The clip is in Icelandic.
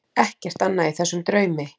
Ekkert annað í þessum draumi.